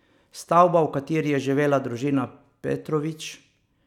Stavba, v kateri je živela družina Petrović ...